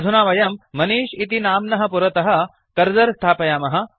अधुना वयं मनिष् इति नाम्नः पुरतः कर्सर् स्थापयामः